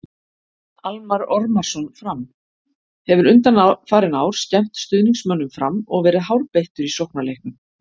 Almarr Ormarsson- Fram: Hefur undanfarin ár skemmt stuðningsmönnum Fram og verið hárbeittur í sóknarleiknum.